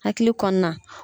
Hakili kɔnɔna.